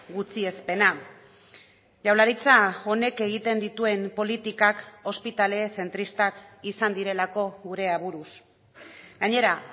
gutxiespena jaurlaritza honek egiten dituen politikak ospitale zentristak izan direlako gure aburuz gainera